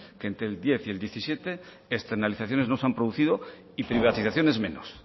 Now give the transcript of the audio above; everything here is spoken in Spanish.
que entre el dos mil diez y el dos mil diecisiete externalizaciones no se han producido y privatizaciones menos